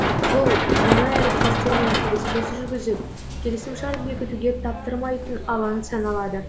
бұл жаңа әріптестермен келіссөз жүрізіп келісімшарт бекітуге таптырмайтын алаң саналады